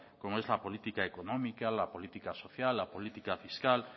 como lo es la política económica la política social la política fiscal